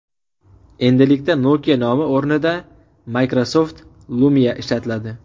Endilikda Nokia nomi o‘rnida Microsoft Lumia ishlatiladi.